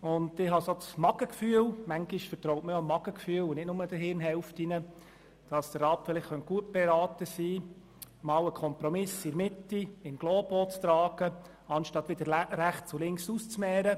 Ich habe das Bauchgefühl – manchmal vertraut man dem Bauch und nicht nur den Hirnhälften –, dass der Rat gut beraten sein könnte, einmal einen Kompromiss in der Mitte in globo zu tragen, statt wieder rechts und links «auszumehren».